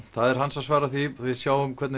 er hans að svara því við sjáum hvernig